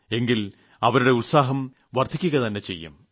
എങ്കിൽ അവരുടെ ഉത്സാഹം വർദ്ധിക്കുക തന്നെ ചെയ്യും